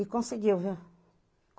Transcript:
E conseguiu, viu?